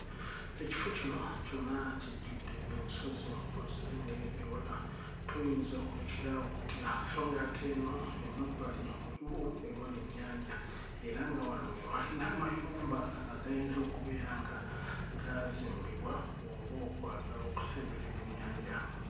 Ekifo kino kyonna kijjudde ensozi bw'ozirengerera ewala toyinza kulekera awo kutya so nga ate eno emabbali waliwo ewali ennyanja era nga wano we wali n'amayumba agayinza okubeera nga gaazimbibwa olw'okwagala okusemberera ennyanja.